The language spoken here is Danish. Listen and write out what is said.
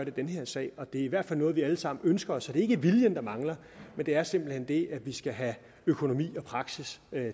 i den her sag det er i hvert fald noget vi alle sammen ønsker så det er ikke viljen der mangler men det er simpelt hen det at vi skal have økonomi og praksis